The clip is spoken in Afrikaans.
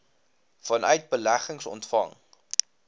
vanuit beleggings ontvang